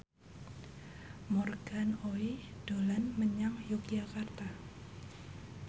Morgan Oey dolan menyang Yogyakarta